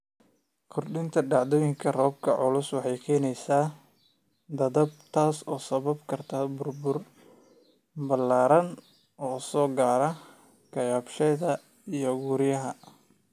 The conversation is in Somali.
Kordhinta dhacdooyinka roobabka culus waxay keenaysaa daadad, taas oo sababi karta burbur ballaaran oo soo gaara kaabayaasha iyo guryaha.